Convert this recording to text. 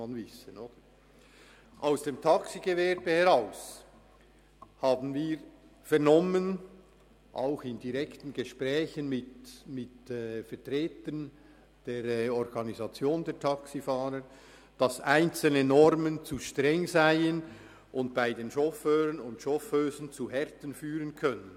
Vom Taxigewerbe und auch in direkten Gesprächen mit Vertretern der Organisation der Taxifahrer haben wir vernommen, dass einzelne Normen zu streng seien und bei den Chauffeuren und Chauffeusen zu Härten führen könnten.